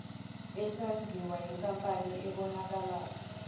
esenziwa yinkampani ebonakala